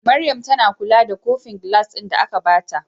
Maryam tAna kula da kofin gilas din da aka bata